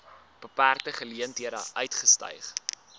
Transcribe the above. beperkte geleenthede uitgestyg